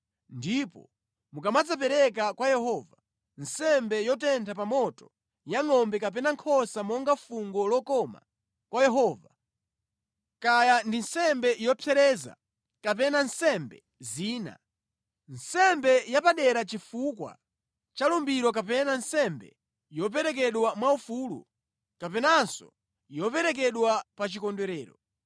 ndipo mukamadzapereka kwa Yehova, nsembe yotentha pa moto ya ngʼombe kapena nkhosa monga fungo lokoma kwa Yehova, kaya ndi nsembe yopsereza kapena nsembe zina, nsembe yapadera chifukwa cha lumbiro kapena nsembe yoperekedwa mwaufulu kapenanso yoperekedwa pa chikondwerero,